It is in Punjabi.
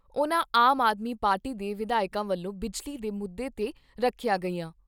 ਉਨ੍ਹਾਂ ਆਮ ਆਦਮੀ ਪਾਰਟੀ ਦੇ ਵਿਧਾਇਕਾਂ ਵੱਲੋਂ ਬਿਜਲੀ ਦੇ ਮੁੱਦੇ ਤੇ ਰੱਖੀਆਂ ਗਈਆਂ।